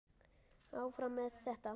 Áfram með þetta.